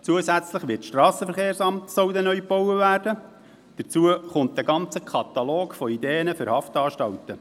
Zudem soll das Strassenverkehrsamt neu gebaut werden, und dann gibt es noch einen Katalog von Ideen für Haftanstalten.